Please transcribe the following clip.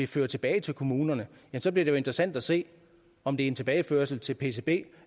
føre tilbage til kommunerne så bliver det jo interessant at se om det er en tilbageførsel til pcb